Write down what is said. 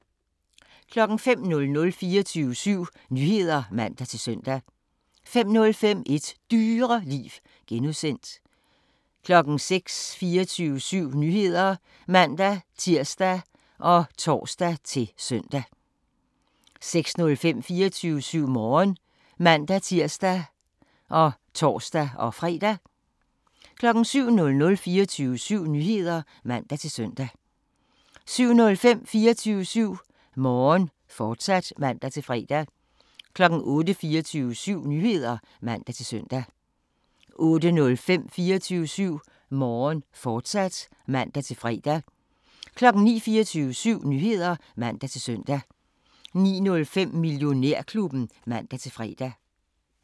05:00: 24syv Nyheder (man-søn) 05:05: Et Dyreliv (G) 06:00: 24syv Nyheder (man-tir og tor-søn) 06:05: 24syv Morgen (man-tir og tor-fre) 07:00: 24syv Nyheder (man-søn) 07:05: 24syv Morgen, fortsat (man-fre) 08:00: 24syv Nyheder (man-søn) 08:05: 24syv Morgen, fortsat (man-fre) 09:00: 24syv Nyheder (man-søn) 09:05: Millionærklubben (man-fre)